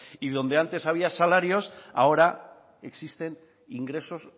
y donde antes había salarios ahora existen ingresos